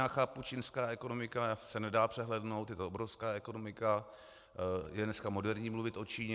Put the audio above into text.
Já chápu, čínská ekonomika se nedá přehlédnout, je to obrovská ekonomika, je dneska moderní mluvit o Číně.